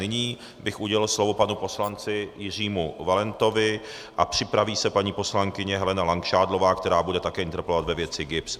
Nyní bych udělil slovo panu poslanci Jiřímu Valentovi a připraví se paní poslankyně Helena Langšádlová, která bude také interpelovat ve věci GIBS.